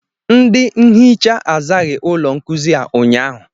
Ndị nhịcha azaghị ụlọ nkuzi a ụnyahụ